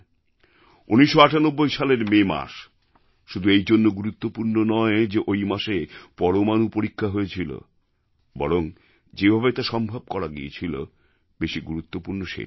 ১৯৯৮ সালের মে মাস শুধু এইজন্য গুরুত্বপূর্ণ নয় যে ওই মাসে পরমাণু পরীক্ষা হয়েছিল বরং যেভাবে তা সম্ভব করা গিয়েছিল বেশি গুরুত্বপূর্ণ সেটাই